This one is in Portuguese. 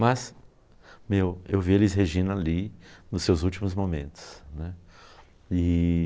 Mas, meu, eu eu vi Elis Regina ali nos seus últimos momentos, né. E...